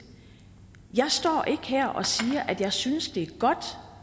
jeg står ikke her og siger at jeg synes det er godt